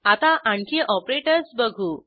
आता आणखी ऑपरेटर्स बघू